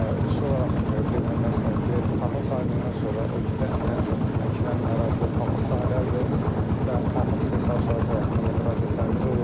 Xüsusi olaraq qeyd eləmək istəyirəm ki, taxıl sahəsindən sonra ölkədə ən çox əkilən ərazilər pambıq sahələridir və pambıq istehsalçıları tərəfindən də müraciətlərimiz olur.